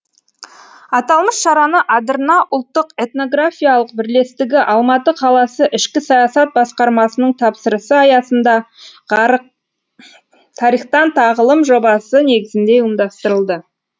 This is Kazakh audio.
аталмыш шараны адырна ұлттық этнографиялық бірлестігі алматы қаласы ішкі саясат басқармасының тапсырысы аясында тарихтан тағылым жобасы негізінде ұйымдастырылды